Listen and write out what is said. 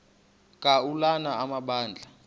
ka ulana amabandla